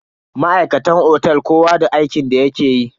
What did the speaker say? Ma'aikatan otel kowa da aikin da yake yi.